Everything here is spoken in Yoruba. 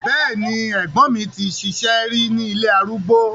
Bẹ́ẹ̀ni, ẹ̀gbọ́n mi ti ṣiṣẹ́ rí ní ilé arúgbó.